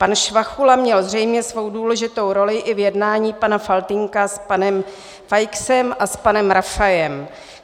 Pan Švachula měl zřejmě svou důležitou roli i v jednání pana Faltýnka s panem Feixem a s panem Rafajem.